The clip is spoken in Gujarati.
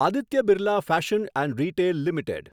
Aditya Birla fashion and retail limited